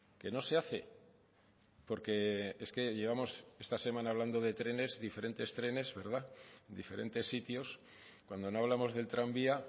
que no se hace porque es que llevamos esta semana hablando de trenes diferentes trenes diferentes sitios cuando no hablamos del tranvía